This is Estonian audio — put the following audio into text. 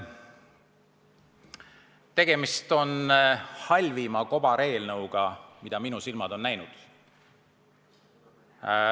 Tegemist on halvima kobareelnõuga, mida minu silmad on näinud.